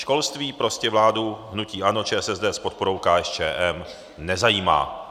Školství prostě vládu hnutí ANO, ČSSD s podporou KSČM nezajímá.